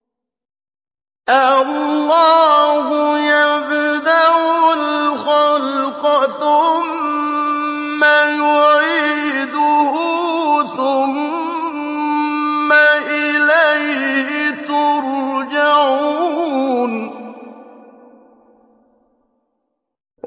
اللَّهُ يَبْدَأُ الْخَلْقَ ثُمَّ يُعِيدُهُ ثُمَّ إِلَيْهِ تُرْجَعُونَ